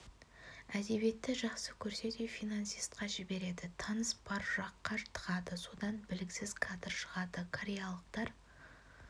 әдебиетті жақсы көрсе де финансистқа жібереді таныс бар жаққа тығады содан біліксіз кадр шығады кореялықтар